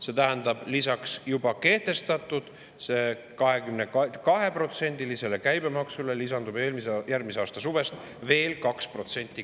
See tähendab seda, et lisaks juba kehtestatud 22%‑lisele käibemaksule lisandub järgmise aasta suvel veel 2%.